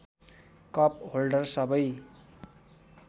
cup holder सबै